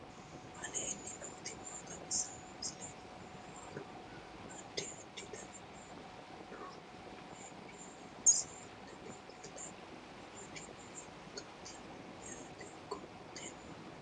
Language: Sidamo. aleenni nooti maa xawisanno misileeti yinummoro addi addi dananna kuula woy biinsille amaddino footooti yaate qoltenno baxissannote mannu kawiicho sicco woy badooshshe leelishshannote